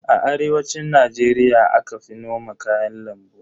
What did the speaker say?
A arewacin Najeriya aka fi noman kayan lambu.